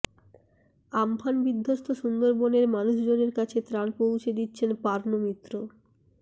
Amphan বিধ্বস্ত সুন্দরবনের মানুষজনের কাছে ত্রাণ পৌঁছে দিচ্ছেন পার্নো মিত্র